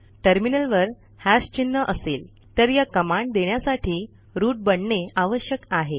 टर्मिनलवर हॅश चिन्ह असेल तर या कमांड देण्यासाठी रूट बनणे आवश्यक आहे